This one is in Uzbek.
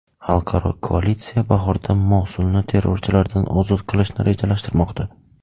Xalqaro koalitsiya bahorda Mosulni terrorchilardan ozod qilishni rejalashtirmoqda.